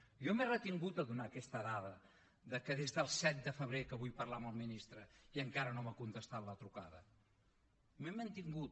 jo m’he retingut de donar aquesta dada de que des del set de febrer que vull parlar amb el ministre i encara no m’ha contestat la trucada m’he mantingut